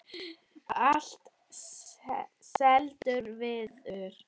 Allt seldur viður.